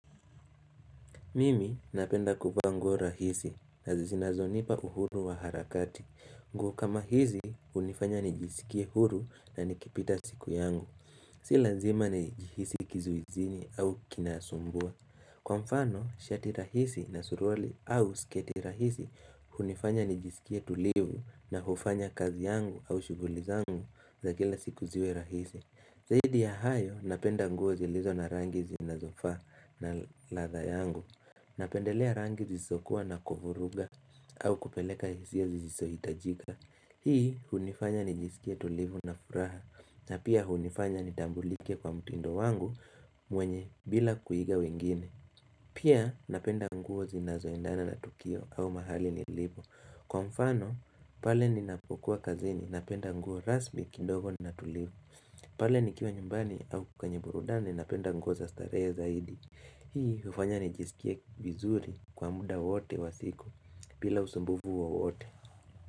Mimi napenda kuvaa nguo rahisi na zinazonipa uhuru wa harakati. Nguo kama hizi hunifanya nijisikie huru na nikipita siku yangu. Si lazima nijihisi kizuizini au kinasumbua. Kwa mfano, shati rahisi na suruli au siketi rahisi hunifanya nijisikie tulivu na hufanya kazi yangu au shuguli zangu za kila siku ziwe rahisi. Zaidi ya hayo napenda nguo zilizo na rangi zinazofaa na ladha yangu. Napendelea rangi zisizokuwa na kuvuruga au kupeleka hizia zisizohitajika. Hii hunifanya nijisikie tulivu na furaha. Na pia hunifanya nitambulike kwa mtindo wangu mwenye bila kuiga wengine. Pia napenda nguo zinazoiendana na tukio au mahali ni libo. Kwa mfano, pale ninapokuwa kazini napenda nguo rasmi kidogo na tulivu. Pale nikiwa nyumbani au kwenye burudani napenda nguo za starehe zaidi. Hii hufanya nijisikia vizuri kwa muda wote wa siku bila usumbufu wowote.